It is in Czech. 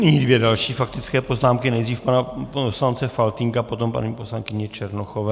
Nyní dvě další faktické poznámky, nejdřív pana poslance Faltýnka, potom paní poslankyně Černochové.